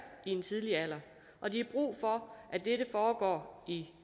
i en tidlig alder og de har brug for at dette foregår i